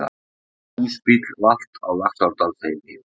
Húsbíll valt á Laxárdalsheiði